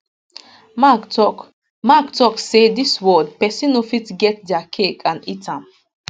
mark tok mark tok say dis world pesin no fit get dia cake and eat am